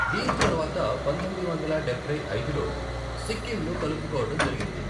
దీని తర్వాత పంతొమ్మిది వందల డబ్బై ఐదులో సిక్కింను కలుపుకోవడం జరిగింది.